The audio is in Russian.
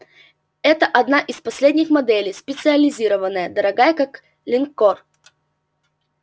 это одна из последних моделей специализированная дорогая как линкор